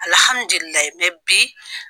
bi